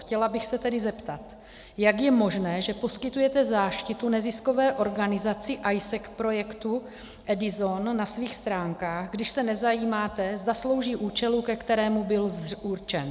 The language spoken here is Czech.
Chtěla bych se tedy zeptat, jak je možné, že poskytujete záštitu neziskové organizaci AIESEC projektu EDISON na svých stránkách, když se nezajímáte, zda slouží účelu, ke kterému byl určen.